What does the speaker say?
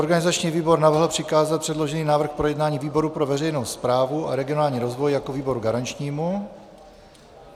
Organizační výbor navrhl přikázat předložený návrh k projednání výboru pro veřejnou správu a regionální rozvoj jako výboru garančnímu.